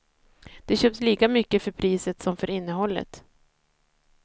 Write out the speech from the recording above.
De köps lika mycket för priset som för innehållet.